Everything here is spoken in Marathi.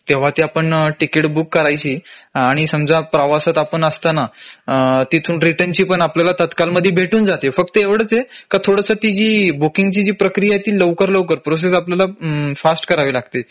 तेंव्हा ती आपण तिकीट बुक करायची आणि समजा प्रवासात आपण असताना तिथून रिटर्न ची पण आपल्याला तात्काळ मध्ये भेटून जातील फक्त एवढच आहे का थोडस ती जी बुकिंग ची जी प्रक्रिया आहे ती लवकर लवकर प्रोसेस आपल्याला फास्ट करावी लागते